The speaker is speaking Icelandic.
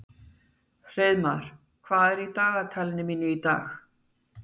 Hreiðmar, hvað er í dagatalinu mínu í dag?